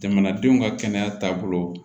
Jamanadenw ka kɛnɛya taabolo